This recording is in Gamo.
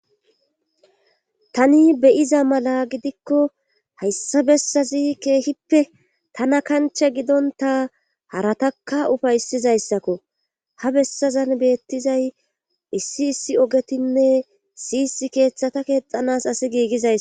tani beyiza mala gidikko hayssa bessazi keehippe tana kancha gidonta haratakka ufaysizayssakko ha bessazan beettizay issi issi ogetinne siyis keeththata keexanas asi giigizays